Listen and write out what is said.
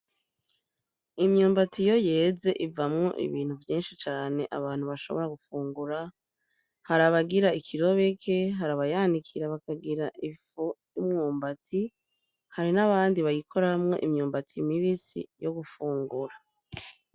Imyumbatsi iyo yeze ivamwo ibintu vyinshi cane abantu bashobora gufungura harabagira ikirobeke harabayanikira bakagira imwumbatsi hari n'abandi bayikoramwo imyumbatsi imibisi yo gufungura.